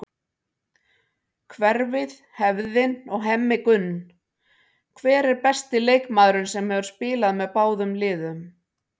Hverfið, hefðin og Hemmi Gunn Hver er besti leikmaðurinn sem hefur spilað með báðum liðum?